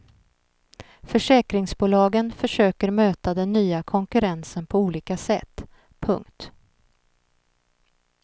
Försäkringsbolagen försöker möta den nya konkurrensen på olika sätt. punkt